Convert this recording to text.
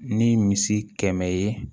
Ni misi kɛmɛ ye